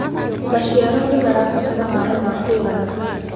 maciaro nĩmarabatara maĩ ma kũigana